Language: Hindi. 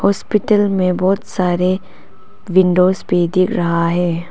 हॉस्पिटल में बहोत सारे विंडोज भी दिख रहा है।